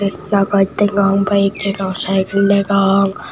jeda gaas degong bike degong cikal degong.